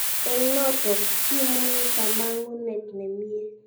"Eng notok, imunyi kamung'et ne mie.